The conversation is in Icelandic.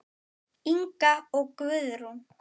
Inga og Guðrún.